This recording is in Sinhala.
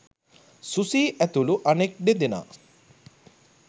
සුසී ඇතුළු අනෙක් දෙදෙනා